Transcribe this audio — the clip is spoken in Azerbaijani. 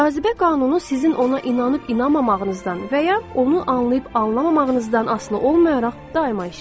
Cazibə qanunu sizin ona inanıb-inanmamağınızdan və ya onu anlayıb-anlamamağınızdan asılı olmayaraq daima işləyir.